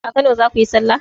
A kano zakuyi sallah?